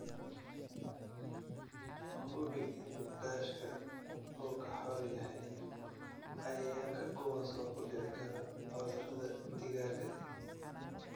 Hubi in daashka uu ka xor yahay cayayaanka kuwaas oo ku dhici kara cudurrada digaaga.